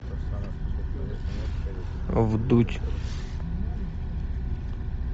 вдудь